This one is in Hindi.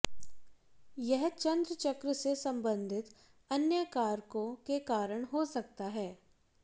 यह चंद्र चक्र से संबंधित अन्य कारकों के कारण हो सकता है